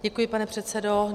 Děkuji, pane předsedo.